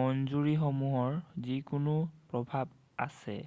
মঞ্জুৰিসমূহৰ যিকোনো প্ৰভাৱ আছে৷